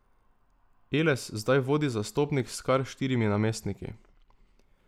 Eles zdaj vodi zastopnik s kar štirimi namestniki.